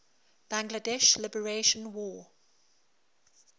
bangladesh liberation war